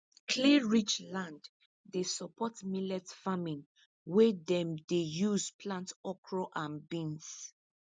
clayrich land dey support millet farming wey dem dey use plant okra and beans